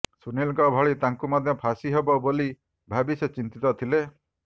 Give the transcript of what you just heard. ସୁନୀଲଙ୍କ ଭଳି ତାଙ୍କୁ ମଧ୍ୟ ଫାଶୀ ହେବ ବୋଲି ଭାବି ସେ ଚିନ୍ତିତ ଥିଲେ